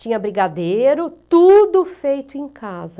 Tinha brigadeiro, tudo feito em casa.